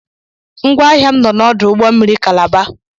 Ngwáahịa m nọ n'ọdụ ụgbọmmiri Calabar.